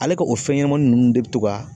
Ale ka o fɛn ɲɛnamanin nunnu de bɛ to ka